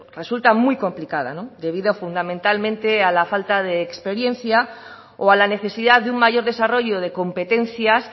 resulta muy complicada debido fundamentalmente a la falta de experiencia o a la necesidad de un mayor desarrollo de competencias